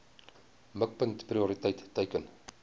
mikpunt prioriteit teiken